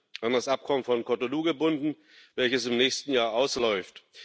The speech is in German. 10. an das Abkommen von Cotonou gebunden, welches im nächsten Jahr ausläuft.